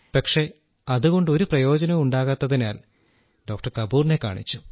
പക്ഷേ അതുകൊണ്ട് ഒരു പ്രയോജനവുമുണ്ടാകാത്തതിനാൽ ഡോക്ടർ കപൂറിനെ കാണിച്ചു